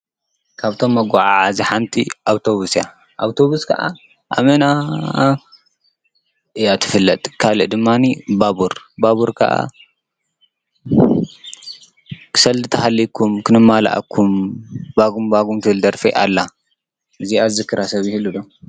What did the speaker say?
ካብቶም መጐዓዓዚ ሓንቲ ኣውቶቡስ እያ፡፡ ኣውቶቡስ ከዓ ኣመና እያ ትፍለጥ፡፡ ካልእ ድማኒ ባቡር- ባቡር ከዓ ሰልዲ እንተሃልይኩም ክንማልኣኩም ባጕም ባጕም ትብል ደርፊ ኣላ፡፡ እዚኣ ዝዝክራ ሰብ ይህሉ ዶ?